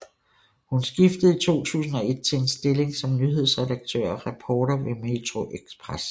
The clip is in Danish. Hun skiftede i 2001 til en stilling som nyhedsredaktør og reporter ved metroXpress